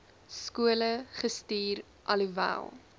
skole gestuur alhoewel